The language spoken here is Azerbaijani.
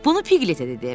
Bunu Pigletə dedi.